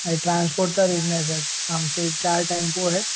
अरे ट्रान्स्पोर्टचा बिजनेस आहे. आमचे चार टेम्पो आहेत.